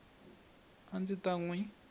a ndzi ta n wi